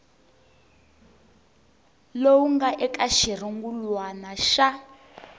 lowu nga eka xirungulwana xa